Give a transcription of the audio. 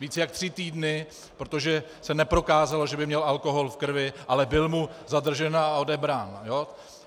Více než tři týdny, protože se neprokázalo, že by měl alkohol v krvi, ale byl mu zadržen a odebrán.